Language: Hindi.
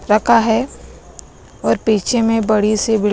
रखा है और पीछे में बड़ी सी बिल्ड--